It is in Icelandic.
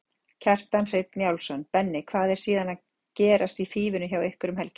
Kjartan Hreinn Njálsson: Benni, hvað er síðan gerast í Fífunni hjá ykkur um helgina?